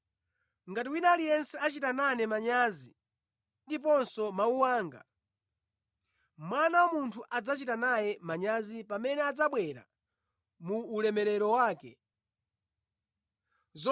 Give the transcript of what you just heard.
Ngati wina aliyense achita nane manyazi ndi ndiponso mawu anga, Mwana wa Munthu adzachita naye manyazi pamene adzabwera mu ulemerero wake ndi mu ulemerero wa Atate ndi angelo oyera.